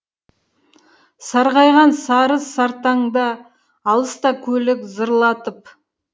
сарғайған сары сартаңда алыста көлік зырлатып